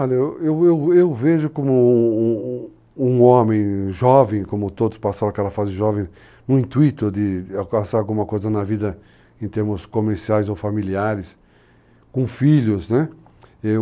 Olha, eu eu eu eu vejo como um um homem jovem, como todos passaram aquela fase jovem no intuito de alcançar alguma coisa na vida em termos comerciais ou familiares, com filhos, né.